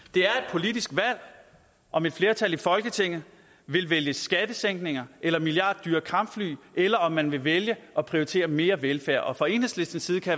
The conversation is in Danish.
politisk valg om et flertal i folketinget vil vælge skattesænkninger eller milliarddyre kampfly eller om man vil vælge at prioritere mere velfærd fra enhedslistens side kan